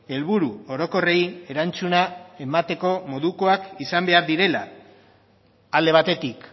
helburu orokorrei erantzuna emateko modukoak izan behar direla alde batetik